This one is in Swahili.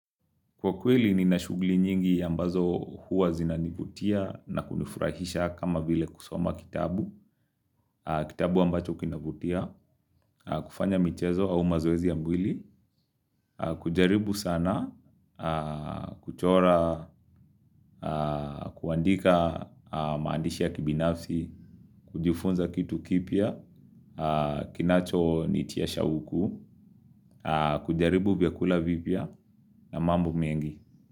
Kwa kweli ni na shughuli nyingi ambazo huwa zinanivutia na kunifurahisha kama vile kusoma kitabu, kitabu ambacho kinavutia, kufanya mchezo au mazoezi ya mwili, kujaribu sana, kuchora, kuandika maandishi ya kibinafsi, kujifunza kitu kipya, kinacho nitia shauku, kujaribu vyakula vipya na mambo mengi.